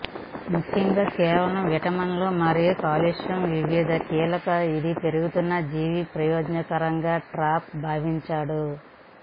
ముఖ్యంగా కేవలం విటమిన్లు మరియు కాల్షియం వివిధ కీలక ఇది పెరుగుతున్న జీవి ప్రయోజకరంగా టాప్స్ భావించాడు